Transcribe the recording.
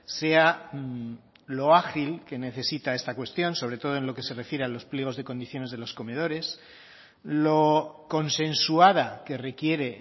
sea lo ágil que necesita esta cuestión sobre todo en lo que se refiere a los pliegos de condiciones de los comedores lo consensuada que requiere